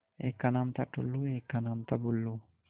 एक का नाम था टुल्लु और एक का नाम था बुल्लु